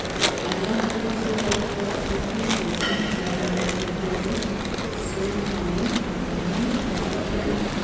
alak kocheboto chekisochin konyek nebore soitaet angandan mogatugul